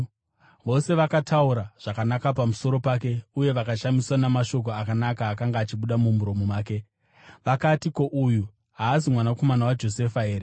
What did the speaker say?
Vose vakataura zvakanaka pamusoro pake uye vakashamiswa namashoko akanaka akanga achibuda mumuromo make. Vakati, “Ko, uyu haazi mwanakomana waJosefa here?”